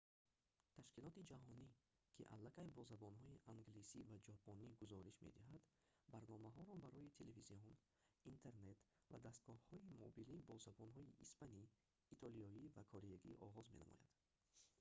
ташкилоти ҷаҳонӣ ки аллакай бо забонҳои англисӣ ва ҷопонӣ гузориш медиҳад барномаҳоро барои телевизион интернет ва дастгоҳҳои мобилӣ бо забонҳои испанӣ итолиёӣ ва кореягӣ оғоз менамояд